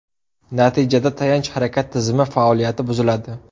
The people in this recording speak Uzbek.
Natijada tayanch-harakat tizimi faoliyati buziladi.